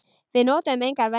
Við notuðum engar verjur.